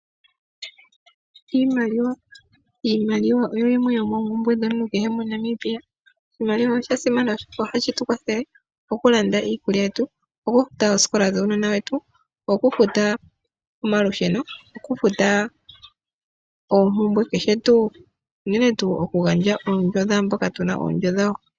Iimaliwa oyo yimwe yomoompumbwe dhomuntu kehe moNamibia. Oshimaliwa oshasimana okulanda iikulya yetu, okufuta oosikola dhuunona wetu , okufuta omalusheno , okufuta oondjo dhaantu ndhoka tuka.